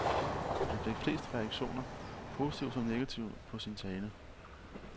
Han fik flest reaktioner, positive som negative, på sin tale.